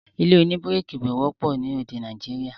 ilé òní bíríkì kò wọ́pọ̀ ni orílè-èdè Nàìjíríà